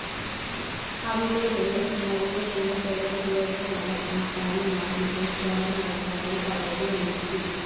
അവിടെയുള്ള സ്മോൽനി എന്ന പെൺ കുട്ടികളുടെ മഠം ആസ്ഥാനമാക്കി പ്രക്ഷോഭം നടത്താനായി പദ്ധതി ഒരുക്കി.